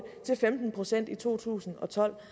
til femten procent i to tusind og tolv